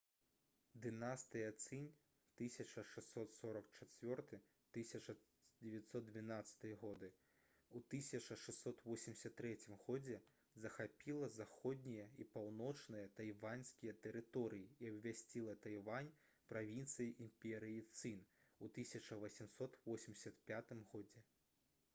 дынастыя цын 1644-1912 гг. у 1683 г. захапіла заходнія і паўночныя тайваньскія тэрыторыі і абвясціла тайвань правінцыяй імперыі цын у 1885 г